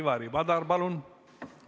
Ivari Padar, palun!